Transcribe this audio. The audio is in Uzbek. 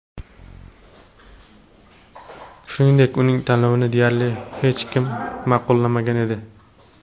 Shuningdek, uning tanlovini deyarli hech kim ma’qullamagan edi.